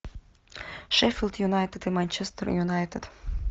шеффилд юнайтед и манчестер юнайтед